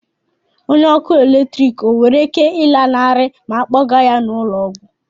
Onye ọkụ eletrik nwere ike ịlanarị ma a kpọga ya n'ụlọ ọgwụ?